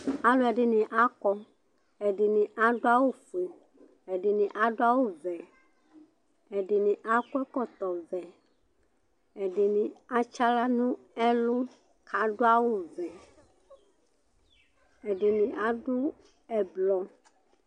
alʊɛɗɩnɩ aƙɔ ɛɗɩnɩ aɗʊ awʊ ɔƒʊe ɛɗɩnɩ aɗʊ awʊ ɔʋɛ ɛɗɩnɩ aƙɔ ɛƙɔtɔ ɔʋɛ ɛɗɩnɩ atsɩ ahla nʊ ɛlʊ ƙʊ aɗʊ awʊ ɔʋɛ ɛɗɩnɩɓɩ aɗʊ ɛɓlɔ